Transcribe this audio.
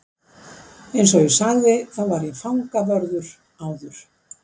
Eins og ég sagði þá var ég fangavörður áður.